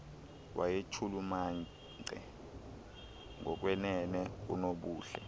wayechulumance ngokwenene unobuhle